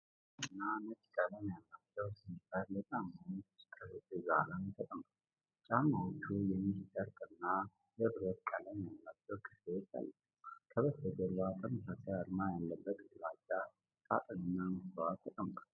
አንድ ጥንድ አዲስና ነጭ ቀለም ያላቸው ስኒከር ጫማዎች በጠረጴዛ ላይ ተቀምጠዋል። ጫማዎቹ የሜሽ ጨርቅ እና የብርማ ቀለም ያላቸው ክፍሎች አሏቸው። ከበስተጀርባ፣ ተመሳሳይ አርማ ያለበት ግራጫ ሣጥንና መስታወት ተቀምጠዋል።